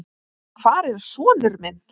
Hvar er sonur minn?